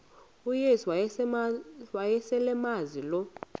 uyesu wayeselemazi lo